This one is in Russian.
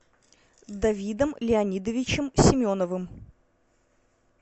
давидом леонидовичем семеновым